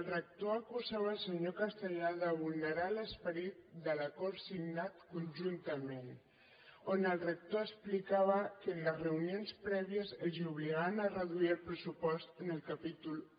el rector acusava el senyor castellà de vulnerar l’esperit de l’acord signat conjuntament on el rector explicava que en les reunions prèvies els obligaven a reduir el pressupost en el capítol i